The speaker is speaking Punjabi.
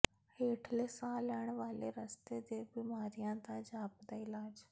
ਹੇਠਲੇ ਸਾਹ ਲੈਣ ਵਾਲੇ ਰਸਤੇ ਦੇ ਬਿਮਾਰੀਆਂ ਦਾ ਜਾਪਦਾ ਇਲਾਜ